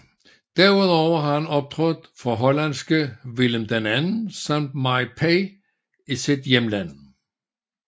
Derudover har han optrådt for hollandske Willem II samt MyPa i sit hjemland